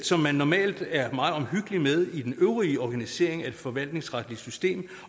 som man normalt er meget omhyggelig med i den øvrige organisering af det forvaltningsretlige system